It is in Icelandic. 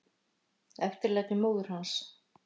Eftirlæti móður hans.